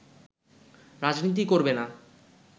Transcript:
রাজনীতি করবে না